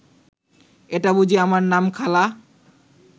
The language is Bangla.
এইটা বুঝি আমার নাম খালা